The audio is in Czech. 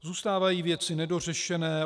Zůstávají věci nedořešené.